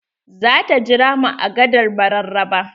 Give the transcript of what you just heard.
Zata jira mu a gadar mararaba.